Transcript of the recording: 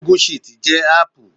Gùgú ṣììtì jẹ́ áàpù